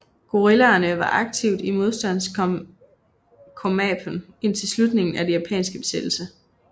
Guerillaerne var aktiv i modstandskomapen indtil slutningen af den japanske besættelse